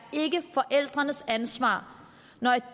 forældrenes ansvar når et